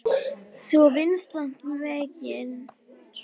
Svo vinstra megin.